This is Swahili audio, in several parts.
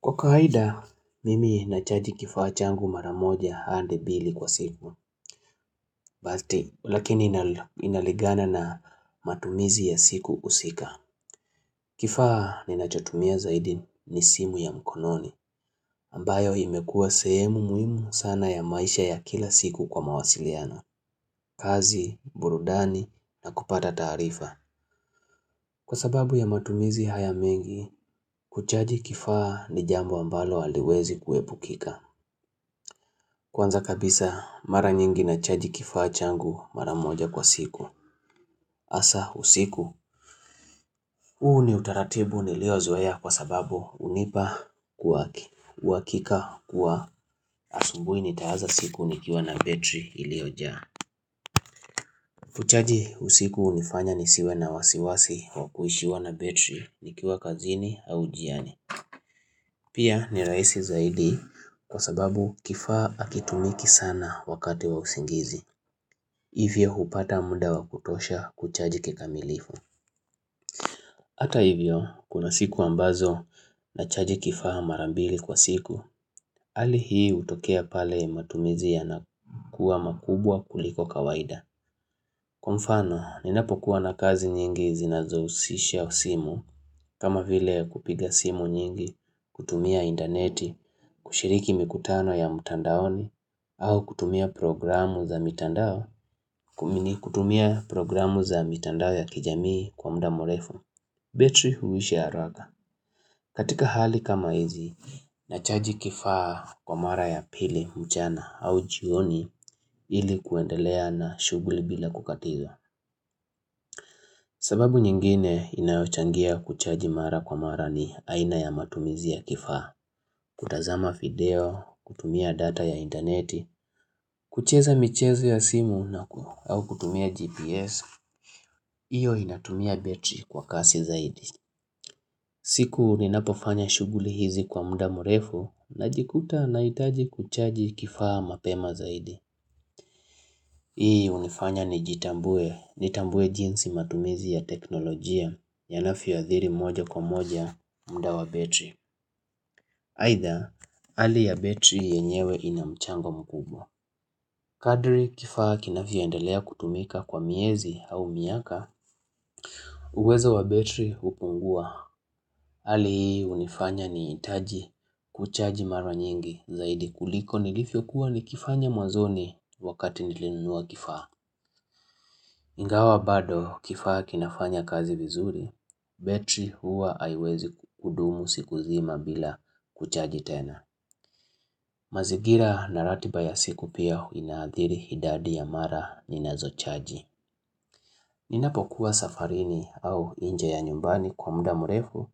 Kwa kawaida, mimi nachaji kifaa changu maramoja hadi mbili kwa siku, lakini inalingana na matumizi ya siku husika. Kifaa ninachotumia zaidi ni simu ya mkononi, ambayo imekua sehemu muhimu sana ya maisha ya kila siku kwa mawasiliano, kazi, burudani, na kupata taarifa. Kwa sababu ya matumizi haya mengi, kuchaji kifaa ni jambo ambalo aliwezi kuepukika. Kwanza kabisa mara nyingi nachaji kifaa changu mara moja kwa siku hasa usiku huu ni utaratibu niliozea kwa sababu hunipa kuwaki uhakika kuwa asubuhi nitaanza siku nikiwa na betri iliojaa Kuchaji usiku hunifanya nisiwe na wasiwasi wa kuishiwa na betri nikiwa kazini au njiani Pia ni rahisi zaidi kwa sababu kifaa hakitumiki sana wakati wa usingizi Hivyo hupata muda wakutosha kuchaji kikamilifu. Hata hivyo, kuna siku ambazo nachaji kifaa marambili kwa siku, hali hii hutokea pale matumizi yanakuwa makubwa kuliko kawaida. Kwa mfano, ninapokuwa na kazi nyingi zinazohusisha usimu, kama vile kupiga simu nyingi, kutumia intaneti, kushiriki mikutano ya mitandaoni, au kutumia programu za mitandao kumini kutumia programu za mitandao ya kijamii kwa muda mrefu betri huisha haraka katika hali kama hizi nachaji kifaa kwa mara ya pili mchana au jioni ili kuendelea na shughuli bila kukatiza sababu nyingine inayochangia kuchaji mara kwa mara ni aina ya matumizi ya kifaa kutazama video, kutumia data ya intaneti kucheza michezo ya simu na ku au kutumia GPS, iyo inatumia betri kwa kasi zaidi. Siku ninapofanya shughuli hizi kwa muda mrefu najikuta nahitaji kuchaji kifaa mapema zaidi. Hii hunifanya ni jitambue, nitambue jinsi matumizi ya teknolojia yanavyoathiri moja kwa moja muda wa betri. Aidha, hali ya betri yenyewe ina mchango mkubwa. Kadri kifaa kinavyoendelea kutumika kwa miezi au miaka, uwezo wa betri hukungua. Hali hunifanya nihtaji kuchaji mara nyingi zaidi kuliko nilivyokuwa nikifanya mwazoni wakati nilinunua kifaa. Ingawa bado kifaa kinafanya kazi vizuri, betri huwa haiwezi kudumu siku zima bila kuchaji tena. Mazingira na ratiba ya siku pia inaadhiri idadi ya mara ni nazo chaji. Ninapo kuwa safarini au nje ya nyumbani kwa muda mrefu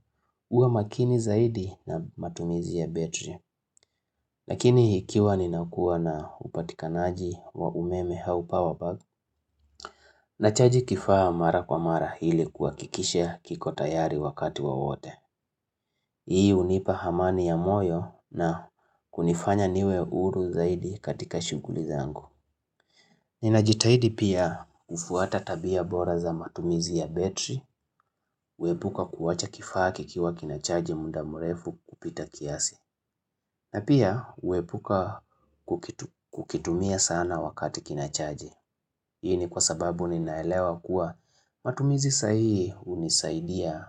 huwa makini zaidi na matumizi ya betri. Lakini ikiwa ninakuwa na upatikanaji wa umeme au power bank na chaji kifaa mara kwa mara ili kuhakikisha kiko tayari wakati wowote. Hii hunipa amani ya moyo na kunifanya niwe huru zaidi katika shughuli zangu. Ninajitahidi pia kufuata tabia bora za matumizi ya betri, kuepuka kuwacha kifaa kikiwa kinachaji muda mrefu kupita kiasi. Na pia kuepuka kukitumia sana wakati kinachaji. Hii ni kwa sababu ninaelewa kuwa matumizi sahi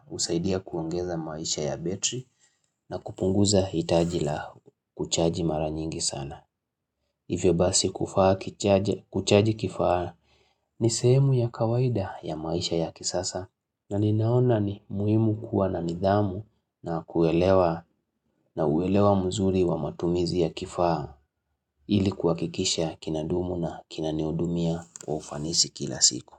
husaidia kuongeza maisha ya betri na kupunguza hitaji la kuchaji mara nyingi sana. Hivyo basi kufaa kuchaji kifaa ni sehemu ya kawaida ya maisha ya kisasa na ninaona ni muhimu kuwa na nidhamu na kuelewa na uwelewa mzuri wa matumizi ya kifaa ili kuhakikisha kinadumu na kinanihudumia wa ufanisi kila siku.